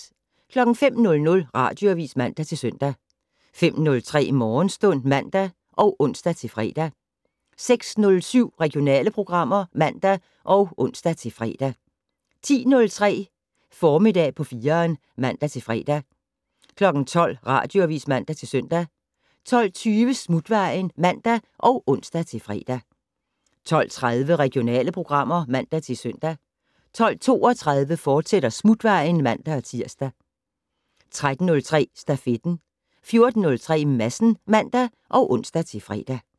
05:00: Radioavis (man-søn) 05:03: Morgenstund (man og ons-fre) 06:07: Regionale programmer (man og ons-fre) 10:03: Formiddag på 4'eren (man-fre) 12:00: Radioavis (man-søn) 12:20: Smutvejen (man og ons-fre) 12:30: Regionale programmer (man-søn) 12:32: Smutvejen, fortsat (man-tir) 13:03: Stafetten 14:03: Madsen (man og ons-fre)